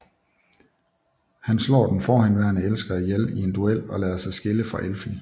Han slår den forhenværende elsker ihjel i en duel og lader sig skille fra Effi